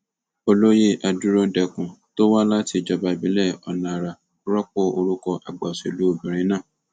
olóyè adúródenkún tó wá láti ìjọba ìbílẹ ọnàara rọpò orúkọ àgbà òṣèlú obìnrin náà